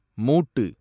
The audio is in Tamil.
மூட்டு